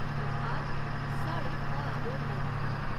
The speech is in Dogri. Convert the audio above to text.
अर्थात् साढ़े भाग होंदे न।